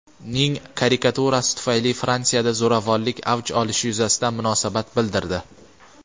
ning karikaturasi tufayli Fransiyada zo‘ravonlik avj olishi yuzasidan munosabat bildirdi.